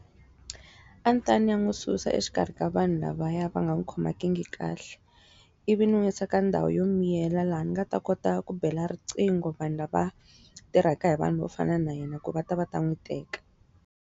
A ni ta ya ni ya n'wi susa exikarhi ka vanhu lavaya va nga n'wi khomangiki kahle ivi ni n'wi yisa ka ndhawu yo miyela laha ni nga ta kota ku bela riqingho vanhu lava, tirhaka hi vanhu vo fana na yena ku va ta va ta n'wi teka.